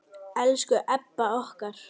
Elsku Ebba okkar.